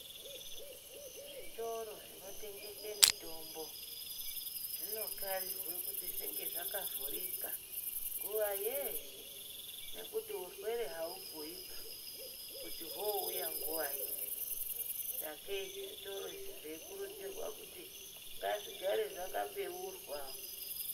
Zvitoro zvinotengese mitombo zvinokharirwe kuti zvinge zvakavhurika nguwa yeshe nekuti urwere haubhuyiba kuti houya nguwa ipi sakei zvitoro izvi zveikurudzirwa kuti ngazvigare zvakabeurwa.